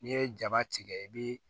N'i ye jaba tigɛ i bi